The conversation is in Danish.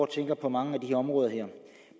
tænker på mange af de her områder